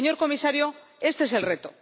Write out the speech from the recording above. Señor Comisario, este es el reto.